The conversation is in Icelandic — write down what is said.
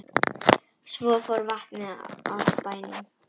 Svo fór vatnið af bænum.